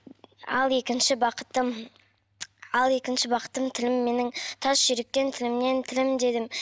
ал екінші бақытым ал екінші бақытым тілім менің тас жүректі тіліммен тілімдедім